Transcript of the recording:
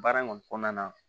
Baara in kɔni kɔnɔna na